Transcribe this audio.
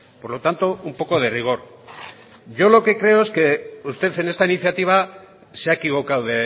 por lo tanto un poco de rigor yo lo que creo es que usted en esta iniciativa se ha equivocado